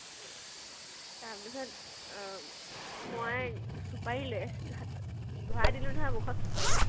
তাৰ পিছত মই চুপাৰি লৈ আছিলো হাতত, ভৰাই দিলো নহয় মুখত চুপাৰি।